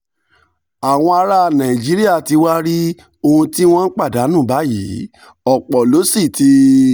àwọn ará nàìjíríà ti wá rí ohun tí wọ́n ń pàdánù báyìí ọ̀pọ̀ ló sì ti